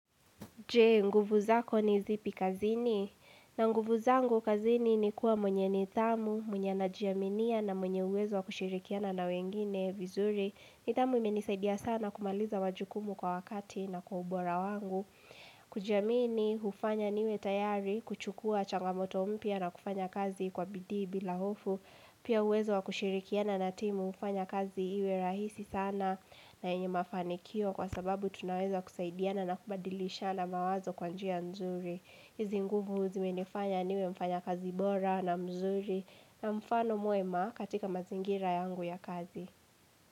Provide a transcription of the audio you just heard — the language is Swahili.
Je nguvu zako ni zipi kazini? Na nguvu zangu kazini ni kuwa mwenye nidhamu, mwenye anajiaminia na mwenye uwezo wa kushirikiana na wengine vizuri. Nidhamu ime nisaidia sana kumaliza wajukumu kwa wakati na kwa ubora wangu. Kujiamini hufanya niwe tayari kuchukua changamoto mpya na kufanya kazi kwa bidii bila hofu. Pia uwezo wa kushirikiana na timu hufanya kazi iwe rahisi sana na yenye mafanikio kwa sababu tunaweza kusaidiana na kubadilishana mawazo kwa njia nzuri. Hizi nguvu zimenifanya niwe mfanya kazi bora na mzuri na mfano mwema katika mazingira yangu ya kazi.